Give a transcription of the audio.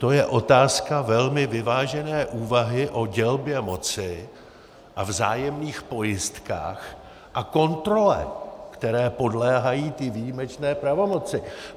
To je otázka velmi vyvážené úvahy o dělbě moci a vzájemných pojistkách a kontrole, které podléhají ty výjimečné pravomoci.